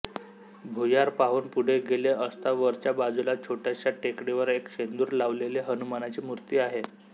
भुयार पाहून पुढे गेले असता वरच्या बाजूला छोट्याश्या टेकडीवर एक शेंदूर लावलेले हनुमानाची मूर्ती आहे